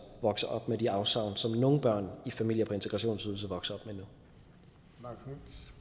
vokser op med de afsavn som nogle børn i familier på integrationsydelse vokser op